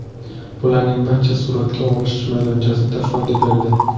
Bularning barchasi suratga olish maydonchasida foyda berdi.